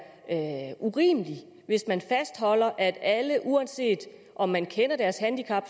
urimeligt hvis man fastholder at alle uanset om man kender deres handicap